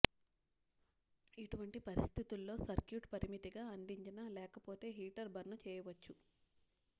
ఇటువంటి పరిస్థితుల్లో సర్క్యూట్ పరిమితిగా అందించిన లేకపోతే హీటర్ బర్న్ చేయవచ్చు